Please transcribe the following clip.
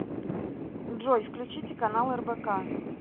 джой включите канал рбк